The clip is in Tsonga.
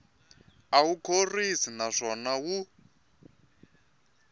a wu khorwisi naswona wu